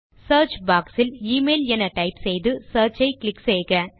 search box இல் email என type செய்து சியர்ச் ஐ கிளிக் செய்க